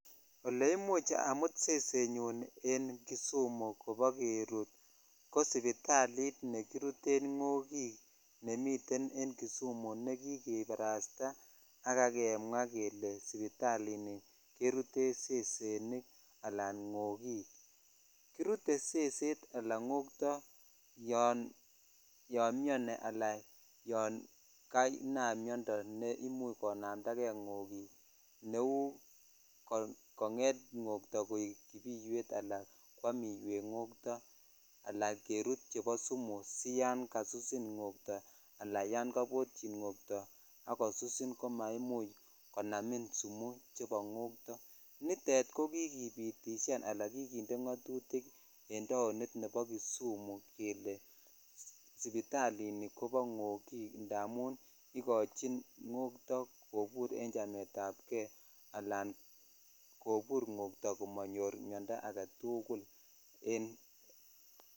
Ole imuch amut sesenyun en kisumu kobo kerut ko sipitalit nekiruten ngokik ne miten en kisum ne kikibarasta ak kemwa kele sipitalini keruten sesenik alan ngokik kirute seset ala ngokto yanyon mioni ala yan kanam miondo ne imuch konamda jei ngokik ko konget ngotoo koi kibiwetvala kwam iwek ngotoo ala kerut chebo sumu si yan jasusin ngo'too ala yan kabotyin ngotoo ak kosusin komonomin sumu chebo ngotoo chutet kikipitishan ala kikinde ngotutik en taonit nebo kisumu jele sipitalini kobo kobo ngokik amun ikochin ngotoo jobur en chemet anb kei ala kobur ngoyoo komonyor miondoo aketuk en.